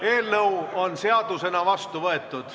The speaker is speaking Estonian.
Eelnõu on seadusena vastu võetud.